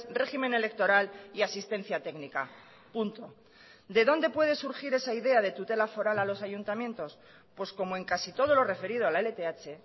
régimen electoral y asistencia técnica punto de dónde puede surgir esa idea de tutela foral a los ayuntamientos pues como en casi todo lo referido a la lth